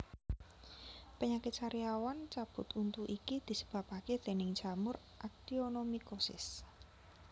Penyakit sariawan cabut untu iki disebabake déning jamur actionomycosis